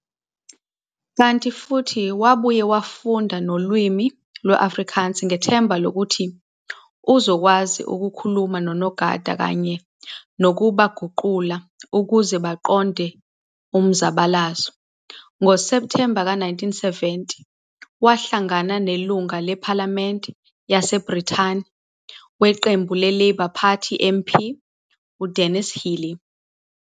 Kanti futhi wabuye wafunda nolimi lwe-Afrikaans, ngethemba lokuthi uzokwazi ukukhuluma nonogada kanye nokuba guqula ukuze baqonde umzabala. NgoSeptembe ka-1970, wahlangana nelunga lephalamende yaseBrithani weqembu le-Labour Party MP Dennis Healey.